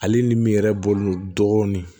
Ale ni min yɛrɛ bɔlen dɔɔnin